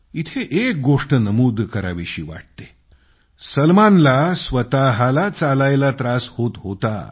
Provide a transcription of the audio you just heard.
इथं एक गोष्ट नमूद करावी वाटते सलमानला स्वतःला चालायला त्रास होत होता